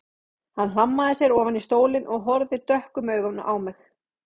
Hann hlammaði sér ofan í stólinn og horfði dökkum augum á mig.